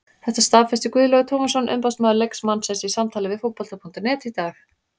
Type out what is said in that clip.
Þetta staðfesti Guðlaugur Tómasson umboðsmaður leikmannsins í samtali við Fótbolta.net í dag.